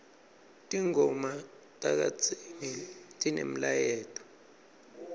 tingoma takadzeni tinemlayeto